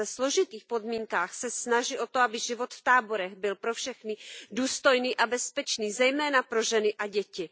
Ve složitých podmínkách se snaží o to, aby život v táborech byl pro všechny důstojný a bezpečný, zejména pro ženy a děti.